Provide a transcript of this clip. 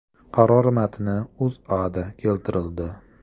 Qaror matni O‘zAda keltirildi .